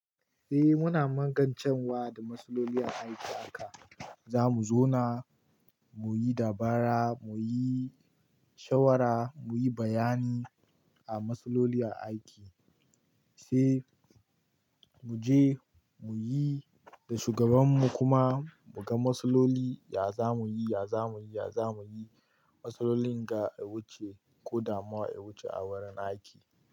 Eh muna magance wa da matsaloli a aiki haka. Za mu zauna mu yi dabara, mu yi shawara, mu yi bayani a matsaloli a aiki, sai mu je mu yi da shugabanmu kuma mu ga matsaloli ya za mu yi, ya za mu yi, ya za mu yi matsalolin ga a wuce ko damuwa a wuce a wurin aiki.